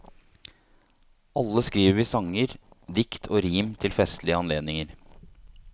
Alle skriver vi sanger, dikt og rim til festlige anledninger.